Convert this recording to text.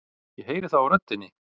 Ég heyri það á röddinni.